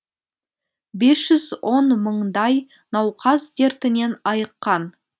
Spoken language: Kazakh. бес жүз он мыңдай науқас дертінен айыққан